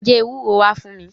Lọ já ewúro wá fún mi.